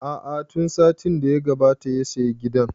A'a tun satin da ya gabata ya saya gidan